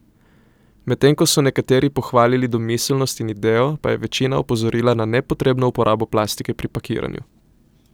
Medtem ko so nekateri pohvalili domiselnost in idejo, pa je večina opozorila na nepotrebno uporabo plastike pri pakiranju.